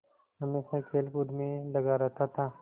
हमेशा खेलकूद में लगा रहता था